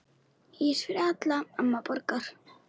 Ís fyrir alla, amma borgar